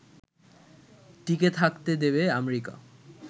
টিকে থাকতে দেবে আমেরিকা